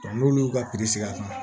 n'olu y'u ka sigi a kan